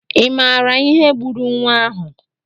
I maara ihe gburu nwa ahụ?